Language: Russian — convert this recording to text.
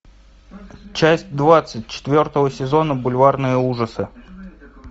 часть двадцать четвертого сезона бульварные ужасы